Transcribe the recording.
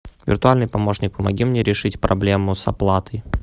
виртуальный помощник помоги мне решить проблему с оплатой